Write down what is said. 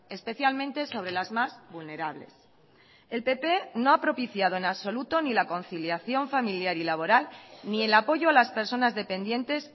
especialmente sobre las más vulnerables el pp no ha propiciado en absoluto ni la conciliación familiar y laboral ni el apoyo a las personas dependientes